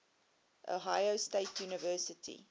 ohio state university